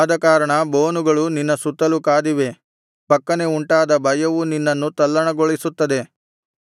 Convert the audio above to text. ಆದಕಾರಣ ಬೋನುಗಳು ನಿನ್ನ ಸುತ್ತಲು ಕಾದಿವೆ ಫಕ್ಕನೆ ಉಂಟಾದ ಭಯವು ನಿನ್ನನ್ನು ತಲ್ಲಣಗೊಳಿಸುತ್ತದೆ